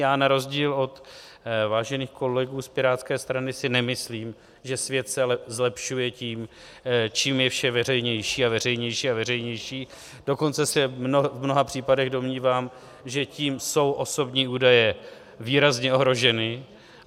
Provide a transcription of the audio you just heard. Já na rozdíl od vážených kolegů z pirátské strany si nemyslím, že svět se zlepšuje tím, čím je vše veřejnější a veřejnější a veřejnější, dokonce se v mnoha případech domnívám, že tím jsou osobní údaje výrazně ohroženy.